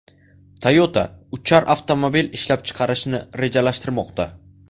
Toyota uchar avtomobil ishlab chiqarishni rejalashtirmoqda.